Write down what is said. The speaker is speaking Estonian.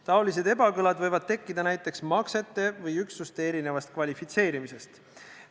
Niisugused ebakõlad võivad tekkida näiteks maksete või üksuste erinevast kvalifitseerimisest.